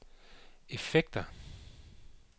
effekter